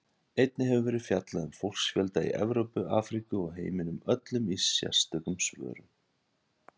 Einnig hefur verið fjallað um fólksfjölda í Evrópu, Afríku og heiminum öllum í sérstökum svörum.